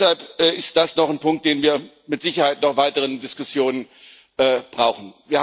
Deshalb ist das noch ein Punkt, über den wir mit Sicherheit noch weitere Diskussionen brauchen.